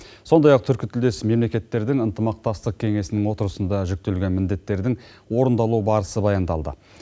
сондай ақ түркітілдес мемлекеттердің ынтымақтастық кеңесінің отырысында жүктелген міндеттердің орындалу барысы баяндалды